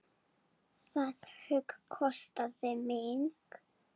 Það högg kostaði mig.